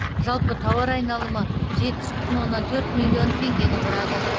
жалпы тауар айналымы жетпіс бүтін оннан төрт миллион теңгені құрады